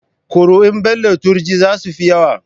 Kuri'un Bello Turji za su fi yawa.